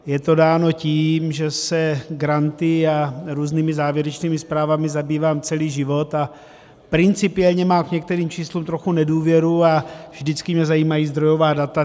Je to dáno tím, že se granty a různými závěrečnými zprávami zabývám celý život a principiálně mám k nějakým číslům trochu nedůvěru a vždycky mě zajímají zdrojová data.